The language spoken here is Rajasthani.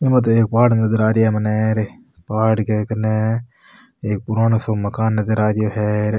एमा तो एक पहाड़ नजर आ रेया है मने पहाड़ के कने एक पुरानो सो मकान नजर आ रियो है।